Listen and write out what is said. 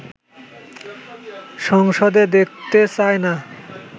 সংসদে দেখতে চায় না